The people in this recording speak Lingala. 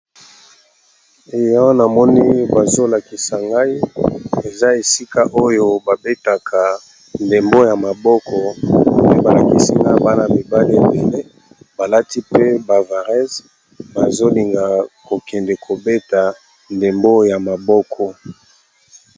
E awa namoni bazolakisa ngai eza esika oyo ba betaka ndembo ya maboko pe balakisi nga bana mibale ebele balati pe bavares bazolinga kokende kobeta ndembo ya maboko.